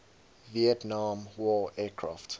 vietnam war aircraft